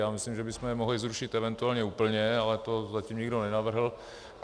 Já myslím, že bychom je mohli zrušit eventuálně úplně, ale to zatím nikdo nenavrhl.